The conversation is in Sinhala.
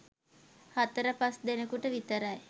හතර පස් දෙනෙකුට විතරයි